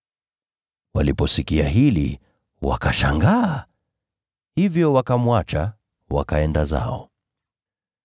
Waliposikia hili, wakashangaa. Hivyo wakamwacha, wakaenda zao.